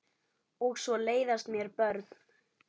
Og svo leiðast mér börn.